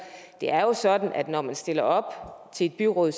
det er jo sådan når man stiller op til et byråd